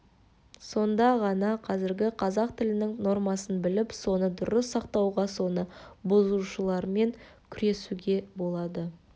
сонда ғана қазіргі қазақ тілінің нормасын біліп соны дұрыс сақтауға соны бұзушылармен күресуге болады